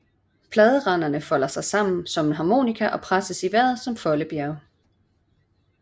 Pladerandene folder sig sammen som en harmonika og presses i vejret som foldebjerge